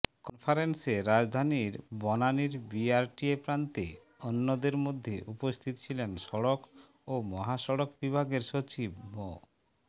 কনফারেন্সে রাজধানীর বনানীর বিআরটিএ প্রান্তে অন্যদের মধ্যে উপস্থিত ছিলেন সড়ক ও মহাসড়ক বিভাগের সচিব মো